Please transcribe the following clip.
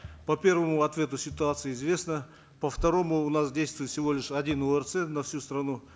по первому ответу ситуация известна по второму у нас действует всего лишь один орц на всю страну